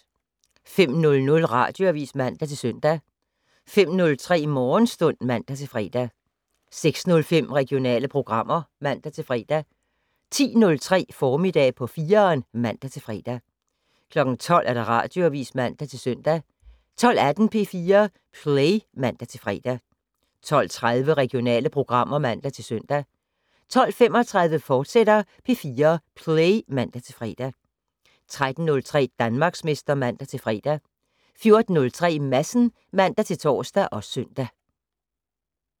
05:00: Radioavis (man-søn) 05:03: Morgenstund (man-fre) 06:05: Regionale programmer (man-fre) 10:03: Formiddag på 4'eren (man-fre) 12:00: Radioavis (man-søn) 12:18: P4 Play (man-fre) 12:30: Regionale programmer (man-søn) 12:35: P4 Play, fortsat (man-fre) 13:03: Danmarksmester (man-fre) 14:03: Madsen (man-tor og søn)